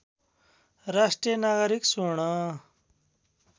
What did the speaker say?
राष्ट्रिय नागरिक स्वर्ण